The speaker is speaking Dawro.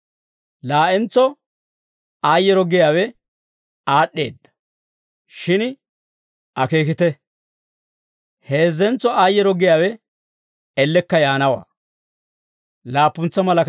Laa'entso aayyeero giyaawe aad'd'eedda. Shin akeekite; heezzentso aayyeero giyaawe ellekka yaanawaa.